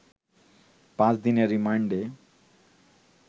পাঁচ দিনের রিমান্ডে